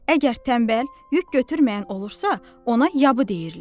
əgər tənbəl, yük götürməyən olursa, ona yabı deyirlər.